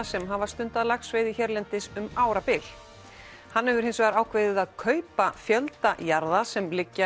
sem hafa stundað laxveiði hérlendis um árabil hann hefur hins vegar ákveðið að kaupa fjölda jarða sem liggja